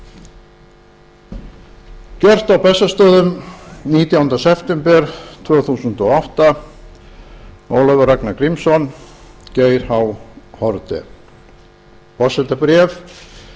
gjört í reykjavík á bessastöðum á september tvö þúsund og átta ólafur ragnar grímsson geir h haarde forsetabréf